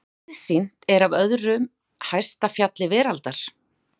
Hve víðsýnt er af öðru hæsta fjalli veraldar?